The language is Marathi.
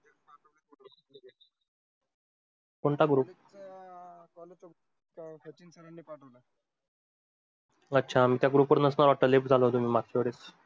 कोणता group? अच्छा आमच्या group वर नसतात left झालो तुम्ही माग